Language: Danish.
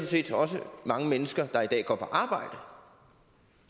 set også mange mennesker der i dag går på arbejde